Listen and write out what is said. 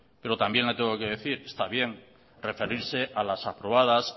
pero también le tengo que decir está bien referirse a las aprobadas